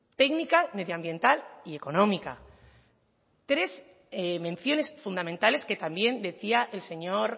técnica medioambiental y económica tres menciones fundamentales que también decía el señor